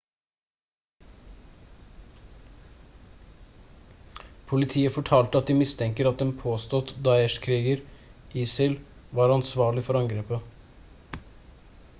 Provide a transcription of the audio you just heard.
politiet fortalte de mistenker at en påstått daesh-kriger isil var ansvarlig for angrepet